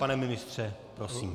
Pane ministře, prosím.